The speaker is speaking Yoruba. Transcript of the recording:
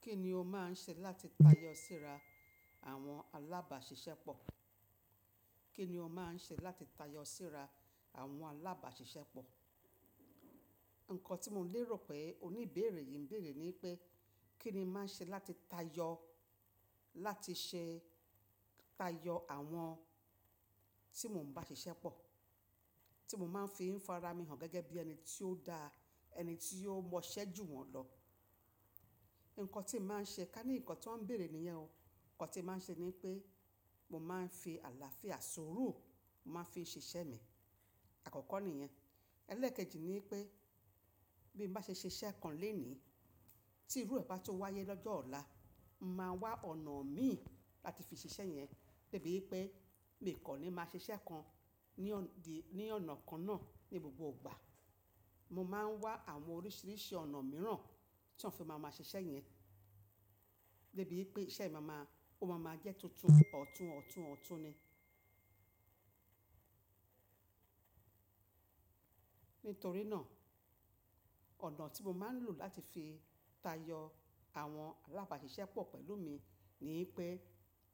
Kí ni o máa ń ṣe láti tayọ síra àwọn alábàáṣiṣẹ́ pọ̀? Kí ni o máa ń ṣe láti tayọ síra àwọn alábàáṣiṣẹ́ pọ̀? Ǹkọ́ tí mo lè rò pé oníbéèrè yìí ń bèèrè ni pé kí ni máa ń ṣe láti tayọ, láti ṣe tayọ àwọn tí mò ń bá ṣiṣẹ́ pọ̀, tí mo máa ń fi fara mi hàn gẹ́gẹ́ bí ẹni tí ó da, ẹni tí ó mọṣẹ́ jù wọ́n lọ. Ǹkọ́ tí màá ṣe ká ní ǹkan tí wọ́n ń bèèrè níyẹn o. Ǹkan tí màá ṣe ni pé mo máa ń fi àlàáfíà sùúrù, mo máa ń fi ṣiṣẹ́ mi. Àkọ́kọ́ ni ìyẹn. Ẹlẹ́ẹ̀kejì ni pé bí bá ṣe ṣiṣẹ́ kan lenì, tí irú ẹba tó wáyé lọ́jọ́ ọ̀la máa wá ọ̀nà mì láti fi ṣiṣẹ́ yẹn. Gẹ́gẹ́ bí pé mi kò ní máa ṣiṣẹ́ kan ní ọ̀nà kan náà ní gbogbo ìgbà. Mo máa ń wá àwọn oríṣìríṣì ọ̀nà mìràn tí ó fi máa máa ṣiṣẹ́ yẹn. Gẹ́gẹ́ bí pé iṣẹ́ máa ma, ó máa ma jẹ́ tuntun, ọ̀tún ọ̀tún ọ̀tún ni. Nítorí náà, ọ̀nà tí mo máa ń lò láti fi tayọ àwọn alábàáṣiṣẹ́ pọ̀ pẹ̀lú mi ni pé